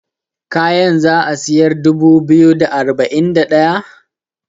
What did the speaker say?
kayan za a siyar dubu biyu da arba'in da daya?